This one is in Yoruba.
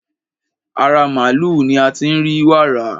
Ara màlúù ni a ti ń rí wàrà.